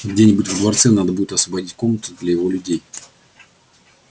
где-нибудь во дворце надо будет освободить комнаты для его людей